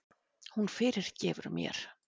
Hún fyrirgefur mér.